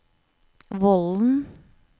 Vollen